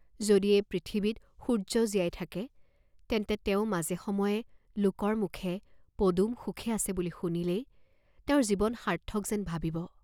যদি এই পৃথিৱীত সূৰ্য্য জীয়াই থাকে, তেন্তে তেওঁ মাজে সময়ে লোকৰ মুখে পদুম সুখে আছে বুলি শুনিলেই তেওঁৰ জীৱন সাৰ্থক যেন ভাবিব!